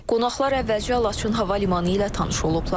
Qonaqlar əvvəlcə Laçın hava limanı ilə tanış olublar.